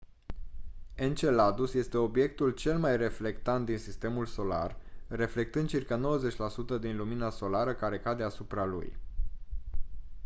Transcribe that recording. enceladus este obiectul cel mai reflectant din sistemul solar reflectând circa 90 la sută din lumina solară care cade asupra lui